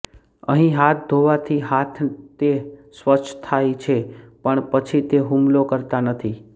અહીં હાથ ધોવાથી હાથ તે સ્વચ્છ થાય છે પણ પછી તે હુમલો કરતા નથી